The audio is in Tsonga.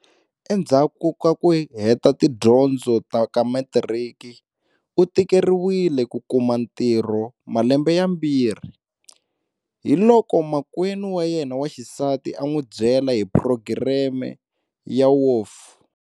Endzhaku ka ku heta tidyondzo ta ka matiriki, u tikeriwile ku kuma ntirho malembe yambirhi. Hiloko makwenu wa yena wa xisati a n'wi bye la hi phurogireme ya WOF.